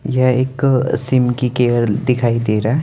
यह एक सिम की केयर दिखाई दे रहा है।